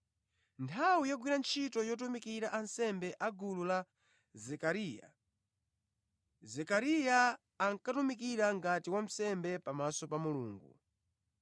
Nthawi yogwira ntchito yotumikira ansembe a gulu la Zekariya, Zekariya ankatumikira ngati wansembe pamaso pa Mulungu,